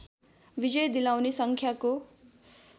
विजय दिलाउने सङ्ख्याको